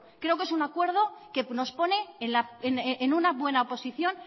creo que es un acuerdo que nos pone en una buena posición